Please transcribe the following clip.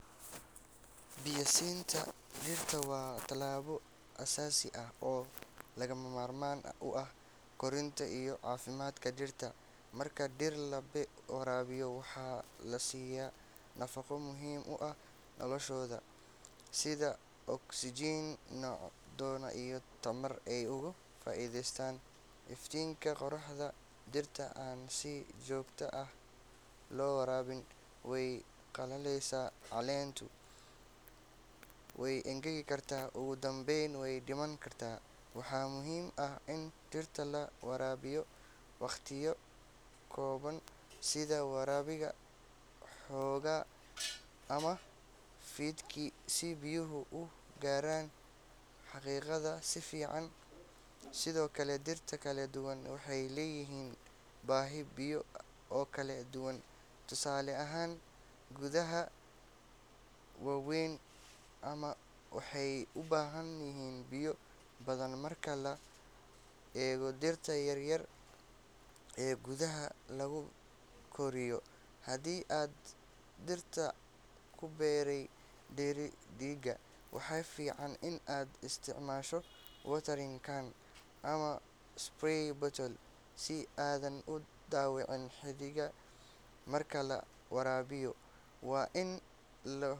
Biyaha siinta dhirta waa tallaabo aasaasi ah oo lagama maarmaan u ah korriimada iyo caafimaadka dhirta. Marka dhir la waraabiyo, waxaa la siyaa nafaqo muhiim u ah noloshooda sida oksijiin, macdano iyo tamar ay uga faa’iideystaan iftiinka qorraxda. Dhirta aan si joogto ah loo waraabin way qalalaysaa, caleenta way engegi kartaa, ugu dambeyna way dhiman kartaa. Waxaa muhiim ah in dhirta la waraabiyo waqtiyada habboon sida waaberiga hore ama fiidkii si biyuhu u gaaraan xididdada si fiican. Sidoo kale, dhirta kala duwan waxay leeyihiin baahi biyo oo kala duwan; tusaale ahaan, geedaha waaweyn waxay u baahan yihiin biyo badan marka loo eego dhirta yaryar ee gudaha lagu koriyo. Haddii aad dhirta ku beertay dheriga, waxaa fiican in aad isticmaasho watering can ama spray bottle si aadan u dhaawicin xididdada. Marka la waraabiyo, waa in.